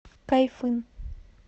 кайфын